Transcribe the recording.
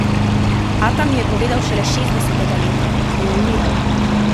Ata mi je povedal šele šestdesetega leta, ko je umiral.